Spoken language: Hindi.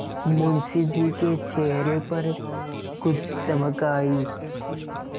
मुंशी जी के चेहरे पर कुछ चमक आई